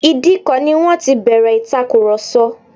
Ìdíkọ̀ ni wọ́n ti bẹ̀rẹ̀ ìtàkurọsọ̀